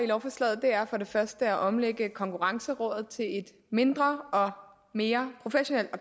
lovforslaget er for det første at omlægge konkurrencerådet til et mindre og mere professionelt